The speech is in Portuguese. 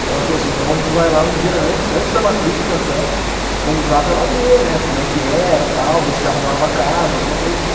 Então ela falou assim, então a gente vai lá um dia antes, antes da matrícula até, fomos lá para ela ver, né, como é que era, tal, ver se arrumava a casa, alguma coisa assim.